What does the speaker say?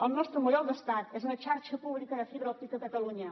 el nostre model d’estat és una xarxa pública de fibra òptica a catalunya